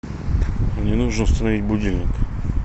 мне нужно установить будильник